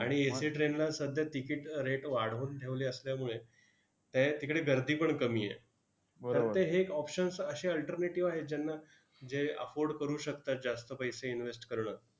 आणि AC train ला सध्या ticket rate वाढवून ठेवले असल्यामुळे ते तिकडे गर्दीपण कमी आहे. तर ते हे एक options अशे alternative आहेत, ज्यांना जे afford करू शकतात जास्त पैसे invest करणं.